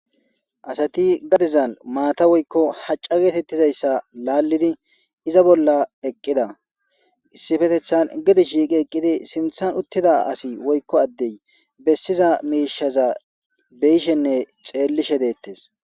Asati gadezan maata woykko hacca geetettizayssa laallidi iza bolla eqqida issifetethan gedi shiiqi eqqidi sinthan uttida asi woykko addey bessiza miishaza beyishenne xeellishe deettes.